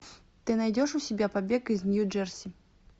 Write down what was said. ты найдешь у себя побег из нью джерси